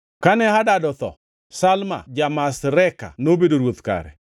Kane Hadad otho, Samla ja-Masreka nobedo ruoth kare.